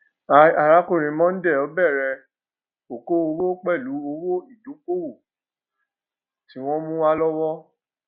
i arákùnrin mondal bèrè okòwò pẹlú owó ìdókóòwò tí wọn mú wá lówó